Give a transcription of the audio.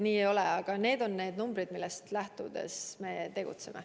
Aga need on arvud, millest lähtudes me tegutseme.